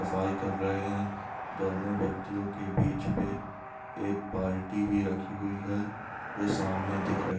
सफाई कर रहे हैं दोनों व्यक्तियों के बीच पे एक बाल्टी भी रखी हुई है जो सामने दिख रही--